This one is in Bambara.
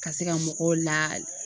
Ka se ka mɔgɔw la